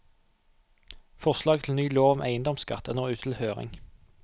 Forslaget til ny lov om eiendomsskatt er nå ute til høring.